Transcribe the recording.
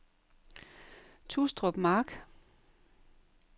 Tustrup Mark